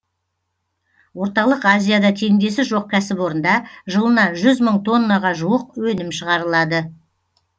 орталық азияда теңдесі жоқ кәсіпорында жылына мың тоннаға жуық өнім шығарылады